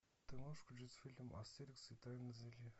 ты можешь включить фильм астерикс и тайное зелье